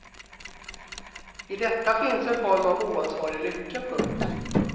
I detta finns en form av oansvarig lycka. punkt